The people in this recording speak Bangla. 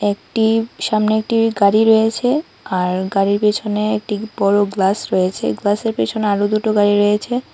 একটি সামনে একটি গাড়ি রয়েছে আর গাড়ির পেছনে একটি বড় গ্লাস রয়েছে গ্লাসের পেছনে আরো দুটো গাড়ি রয়েছে।